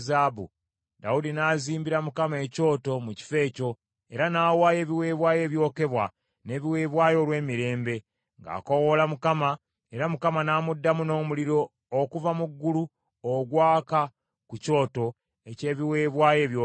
Dawudi n’azimbira Mukama ekyoto mu kifo ekyo, era n’awaayo ebiweebwayo ebyokebwa n’ebiweebwayo olw’emirembe, ng’akoowoola Mukama , era Mukama n’amuddamu n’omuliro okuva mu ggulu ogwaka ku kyoto eky’ebiweebwayo ebyokebwa.